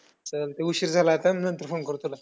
चालतंय, उशीर झाला आता मी नंतर phone करतो तुला.